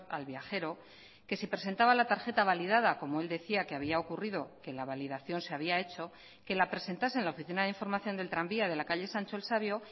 al viajero que si presentaba la tarjeta validada como el decía que había ocurrido que la validación se había hecho que la presentase en la oficina de información del tranvía de la calle sancho el sabio